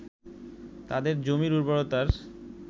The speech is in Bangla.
তাদের জমির উর্বরতার